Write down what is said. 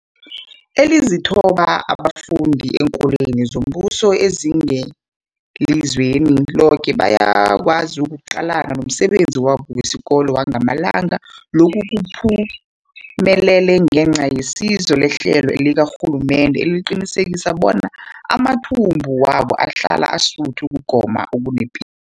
Ezilithoba abafunda eenkolweni zombuso ezingelizweni loke bayakwazi ukuqalana nomsebenzi wabo wesikolo wangamalanga. Lokhu kuphumelele ngenca yesizo lehlelo likarhulumende eliqinisekisa bona amathumbu wabo ahlala asuthi ukugoma okunepilo.